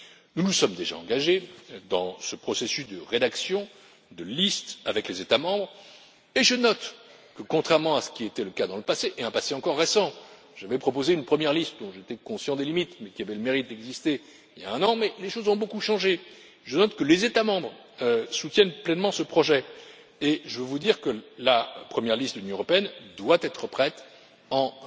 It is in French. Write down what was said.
Nous nous sommes déjà engagés dans ce processus de rédaction de listes avec les États membres et, contrairement à ce qui était le cas dans le passé, un passé encore récent j'avais proposé une première liste, dont les limites m'étaient évidentes, mais qui avait le mérite d'exister il y a un an, cependant les choses ont beaucoup changé je note que les États membres soutiennent pleinement ce projet et je veux vous dire que la première liste de l'Union européenne doit être prête en